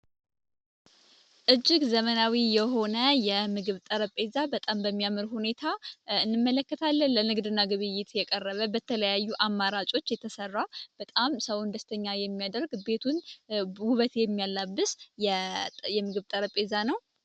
እጅግ ዘመናዊ የሆነ የምግብ ጠረብ ጴዛ በጣም በሚያምር ሁኔታ እንመለከታ ለን ለንግድና ግብይት የቀረበ በተለያዩ አማራጮች የተሠራ በጣም ሰውን ደስተኛ የሚያደርግ ቤቱን ውበት የሚያላብስ የምግብ ጠረብ ጴዛ ነው፡፡